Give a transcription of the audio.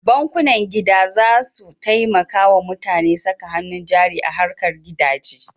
Bankunan gida za su taimaka wa mutane saka hannu jari a harkar gidaje.